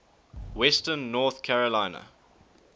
western north carolina